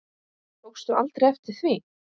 Tókstu aldrei eftir því?